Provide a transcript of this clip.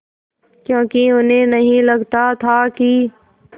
क्योंकि उन्हें नहीं लगता था कि